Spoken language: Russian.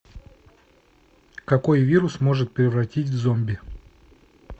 какой вирус может превратить в зомби